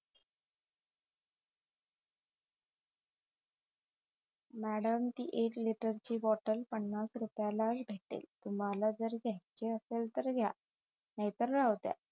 madam ती एक litre ची बॉटल पन्नास रुपयालाच भेटते तुम्हाला घ्याची असेल तर घ्या नाहीतर राहूद्या